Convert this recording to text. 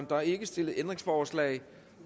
der er ikke stillet ændringsforslag